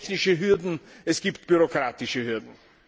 Es gibt technische Hürden, es gibt bürokratische Hürden.